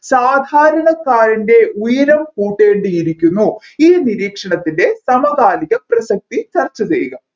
സാധാരണക്കാരൻെറ ഉയരം കൂട്ടേണ്ടിയിരിക്കുന്നു ഈ നിരീക്ഷണത്തിൻെറ സമകാലിക പ്രസക്തി ചർച്ച ചെയ്യുക